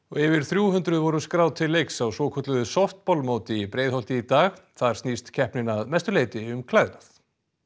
yfir þrjú hundruð voru skráð til leiks á svokölluðu í Breiðholti í dag þar snýst keppnin að mestu leyti um klæðnað